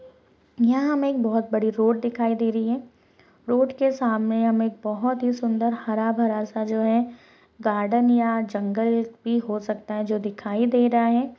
यहाँ हमे बहुत बड़ी रोड दिखाई दे रही है रोड के सामने हमें बहुत ही सुंदर हरा भरा सा जो है गार्डन या जंगल भी हो सकता है जो दिखाई दे रहा है।